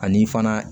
Ani fana